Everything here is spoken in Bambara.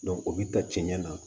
o bi ta cɛncɛn na